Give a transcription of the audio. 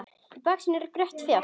Í baksýn eru brött fjöll.